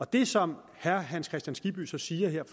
det som herre hans kristian skibby så siger her